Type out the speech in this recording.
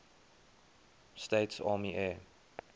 states army air